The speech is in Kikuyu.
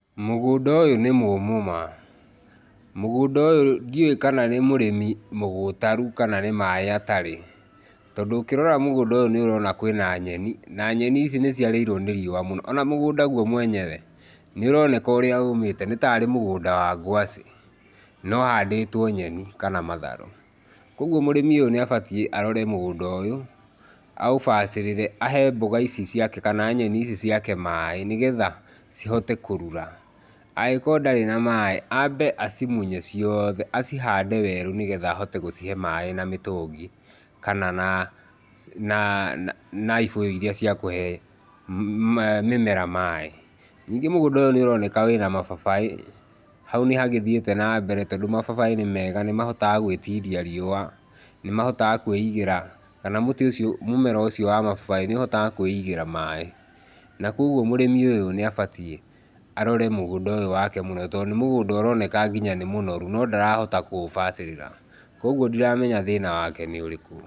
Mũgũnda ũyũ nĩ mũmũ ma. Mũgũnda ũyũ ndĩũĩ kana nĩ mũrĩmi mũgũtaru kana nĩ maĩ atarĩ tondũ ũkĩrora mũgũnda ũyũ nĩ ũrona wĩna nyeni na nyeni ici nĩ ciarĩirwo nĩ riũa ona mũgũnda guo mwene nĩ ũroneka ũrĩa ũmite, nĩta mũgũnda wa ngwacĩ no ũhandĩtwo nyeni kana matharũ. Kũoguo mũrĩmi ũyũ nĩ abatiĩ arore mũgũnda ũyũ , aũbacĩrĩre, ahe mbũga ici ciake kana nyeni ici ciake maĩ nĩgetha cihote kũrura. Angĩkorwo ndarĩ na maĩ, ambe acimunye ciothe acihande werũ nĩgetha ahote gũcihe maĩ na mĩtũngi kana na ibũyũ iria ciakũhe mĩmera maĩ. ningĩ mũgũnda ũyũ nĩ ũroneka nĩũroneka wĩna mababaĩ tondũ mababaĩ nĩmega nĩmahotaga gwĩtiria riũa, nĩmahotaga kwĩigĩra kana mũtĩ ũcio, mũmera ũcio wa mababaĩ nĩũhotaga kwĩigĩra maĩ na kũoguo mũrĩmi ũyũ nĩ abatiĩ arore mũgũnda wake mũno tondũ nĩ mũgũnda ũroneka nginya nĩ mũnoru no ndarahota kũũbacĩrĩra, kũoguo ndiramenya thĩna wake nĩ ũrĩkũ.